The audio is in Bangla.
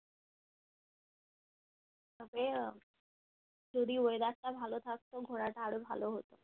তবে যদি weather টা ভালো থাকতো ঘোরাটা আরো ভালো হতো